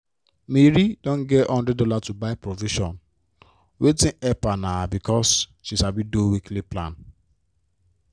mary don get one hundred dollarsto buy provision waitng help her na becasue she sabi do weekly plan.